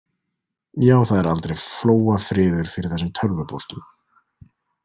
Já, það er aldrei flóafriður fyrir þessum tölvupóstum.